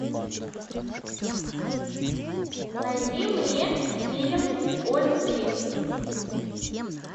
найди мне фильм о любви